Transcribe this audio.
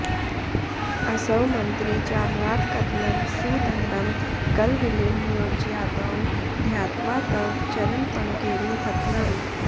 असौ मन्त्री चाम्रातकदलं सुदण्डं गलविले नियोज्यादौ ध्यात्वा तव चरणपङ्केरुहतलम्